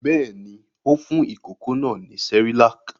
Bẹ́ẹ̀ ni, ó fún ìkókó náà ní Cerelac.